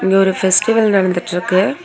இங்க ஒரு பெஸ்டிவல் நடந்துட்ருக்கு.